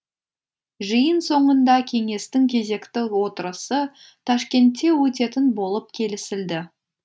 жиын соңында кеңестің кезекті отырысы ташкентте өтетін болып келісілді